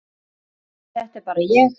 En þetta er bara ég.